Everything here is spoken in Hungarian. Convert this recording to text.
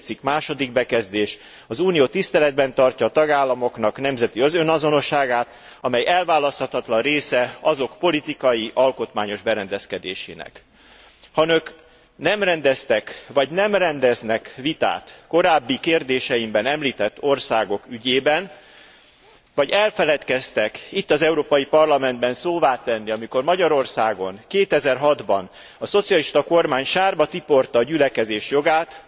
4. cikk, bekezdés Az Unió tiszteletben tartja a tagállamoknak nemzeti önazonosságát, amely elválaszthatatlan része azok politikai, alkotmányos berendezkedésének. Ha Önök nem rendeztek, vagy nem rendeznek vitát korábbi kérdéseimben említett országok ügyében, vagy elfeledkeztek itt, az Európai Parlamentben szóvá tenni, amikor Magyarországon 2006 ban a szocialista kormány sárba tiporta a gyülekezés jogát,